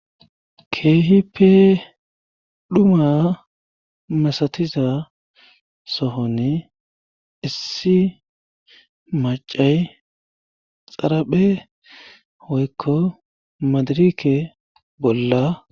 Keehipe dhuma masatiza sohone issi macay xaraphe hoykko madirike bolla.